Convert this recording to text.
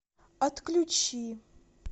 отключи